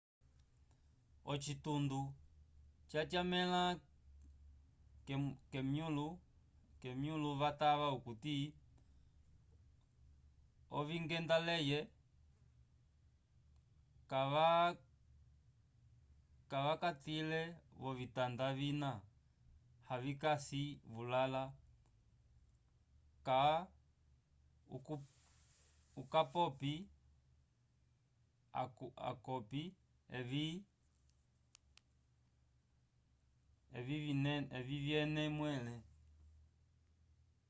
ocitundo cyatyamela kemyulo vatava okuti ovingendaleyi cavacagile vovitanda vina avikasi vulala cka ukapopi awcopi evi vyene mwele